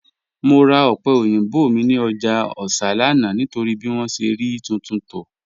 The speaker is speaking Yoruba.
Mọ̀ rà òpẹ̀ oyinbọ̀ mi ni ọ́jà Òṣà lánà nítorí bí wọn ṣẹ̀ rí tuntun tó